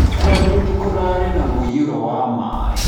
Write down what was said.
Kwanyu nĩkũrarĩ na mũiyũro wa maĩ?